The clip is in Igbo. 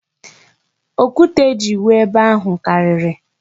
Okwute e ji wụọ ebe ahụ karịrị.